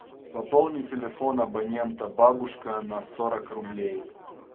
пополни телефон абонента бабушка на сорок рублей